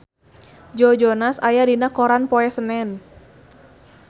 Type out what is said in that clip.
Joe Jonas aya dina koran poe Senen